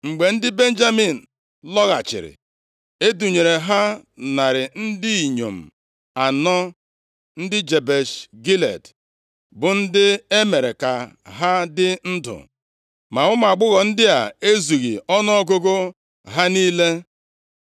Mgbe ndị Benjamin lọghachiri, e dunyere ha narị ndị inyom anọ, ndị Jebesh Gilead, bụ ndị e mere ka ha dị ndụ. Ma ụmụ agbọghọ ndị a ezughị ọnụọgụgụ ha niile.